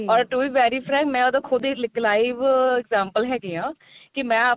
or to be very frank ਮੈਂ ਉਹਦੀ ਖੁਦ ਹੀ ਇੱਕ live example ਹੈਗੀ ਆ ਕੀ ਮੈਂ ਆਪ